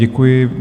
Děkuji.